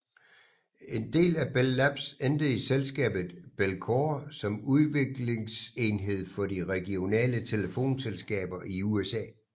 En del af Bell Labs endte i selskabet Bellcore som udviklingsenhed for de regionale telefonselskaber i USA